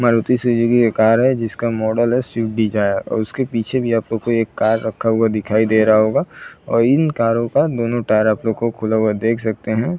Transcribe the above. Maruti Suzuki की car है जिस का मॉडल है स्विफ्ट डिज़ायर और उसके पीछे भी आप लोग को एक कार रखा हुआ दिखाई दे रहा होगा और इन कारो का दोनों टायर आप लोग को खुला हुआ देख सकते हैं।